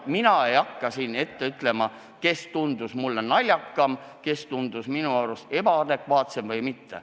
Mina ei hakka siin ette kandma, kes tundus mulle naljakas, kes tundus ebaadekvaatne.